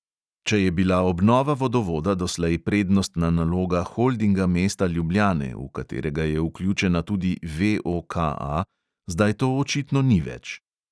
Če je bila obnova vodovoda doslej prednostna naloga holdinga mesta ljubljane, v katerega je vključena tudi VOKA, zdaj to očitno ni več.